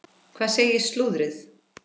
Hvað segir slúðrið?